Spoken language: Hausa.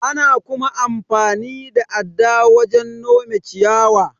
Ana kuma amfani da adda wajen nome ciyawa.